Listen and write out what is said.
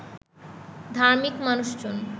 ধার্মিক মানুষজন